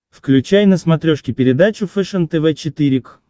включай на смотрешке передачу фэшен тв четыре к